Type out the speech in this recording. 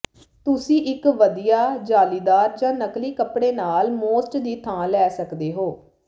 ਤੁਸੀਂ ਇੱਕ ਵਧੀਆ ਜਾਲੀਦਾਰ ਜ ਨਕਲੀ ਕਪੜੇ ਨਾਲ ਮੋਸਟ ਦੀ ਥਾਂ ਲੈ ਸਕਦੇ ਹੋ